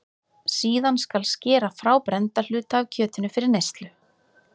Síðan skal skera frá brennda hluta af kjötinu fyrir neyslu.